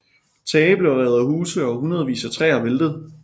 Tage blev revet af huse og hundredvis af træer væltede